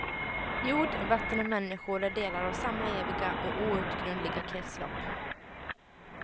Jord, vatten och människor är delar av samma eviga och outgrundliga kretslopp.